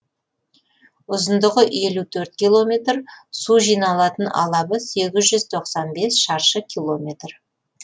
ұзындығы елу төрт километр су жиналатын алабы сегіз жүз тоқсан бес шаршы километр